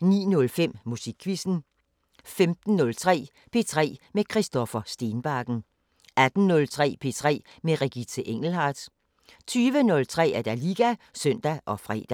09:05: Musikquizzen 15:03: P3 med Christoffer Stenbakken 18:03: P3 med Regitze Engelhardt 20:03: Liga (søn og fre)